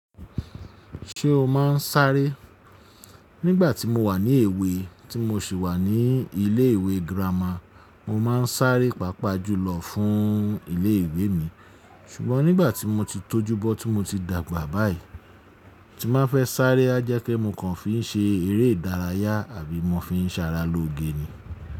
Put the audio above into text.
Ṣé o máa ń sáré? Nígbà tí mo wà ní èwe, tí mo sì wà ní ilé ìwé girama, mo máa ń sáré pàápàá jùlọ fún ilé ìwé mi. Ṣùgbọ́n nígbà tí mo ti tọ́jú bọ́ tí mo ti dàgbà báyìí, tí n ba fẹ́ sáré a jẹ́ pe mo kàn fi ń ṣe eré ìdárayá àbí mo fi ń sàrà lóge ni.